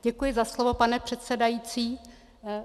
Děkuji za slovo, pane předsedající.